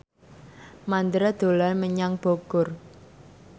Mandra dolan menyang Bogor